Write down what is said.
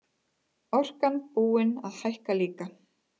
Orkan búin að hækka líka